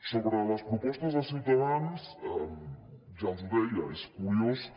sobre les propostes de ciutadans ja els ho deia és curiós que